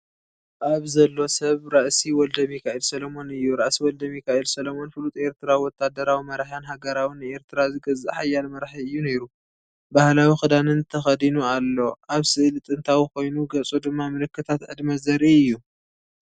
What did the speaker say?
ኣብ ዘሎ ሰብ ራእሲ ወልደሚካኤል ሰሎሞን እዩ። ራእሲ ወልደሚካኤል ሰሎሞን ፍሉጥ ኤርትራዊ ወተሃደራዊ መራሕን ሃገራውን ንኤርትራ ዝገዝእ ሓያል መራሒ እዩ ነይሩ። ባህላዊ ክዳንን ተኸዲኑ ኣሎ። እቲ ስእሊ ጥንታዊ ኮይኑ ገጹ ድማ ምልክታት ዕድመ ዘርኢ እዩ።